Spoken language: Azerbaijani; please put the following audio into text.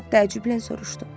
Kap təəccüblə soruşdu.